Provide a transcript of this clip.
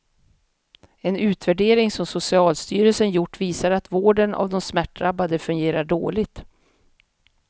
En utvärdering som socialstyrelsen gjort visar att vården av de smärtdrabbade fungerar dåligt.